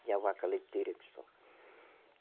Tinha vaca leiteira que só